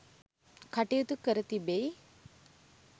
කටයුතු කර තිබෙ යි